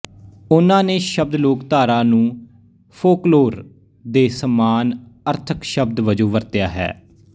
ਉਹਨਾਂ ਨੇ ਸ਼ਬਦ ਲੋਕਧਾਰਾ ਨੂੰ ਫੋਕਲੋਰ ਦੇ ਸਮਾਨ ਅਰਥਕ ਸ਼ਬਦ ਵਜੋਂ ਵਰਤਿਆ ਹੈ